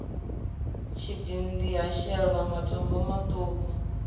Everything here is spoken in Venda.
tshidindi ha shelwa matombo maṱuku